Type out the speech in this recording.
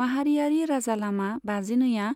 माहारियारि राजालामा बाजिनैआ